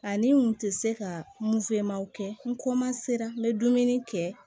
Ani n kun tɛ se ka kɛ n n bɛ dumuni kɛ